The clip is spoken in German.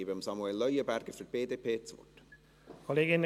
Ich gebe Samuel Leuenberger für die BDP das Wort.